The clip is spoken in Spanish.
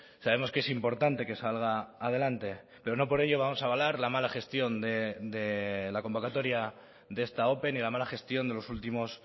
sabemos que es importante que salga adelante pero no por ello vamos a avalar la mala gestión de la convocatoria de esta ope ni la mala gestión de los últimos